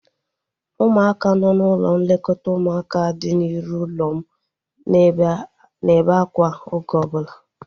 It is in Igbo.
Ụmụaka nọ n'ụlọ nlekọta ụmụaka dị n'iru ụlọ m na-ebe akwa oge ọbụla